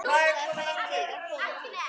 Þær verði að koma til.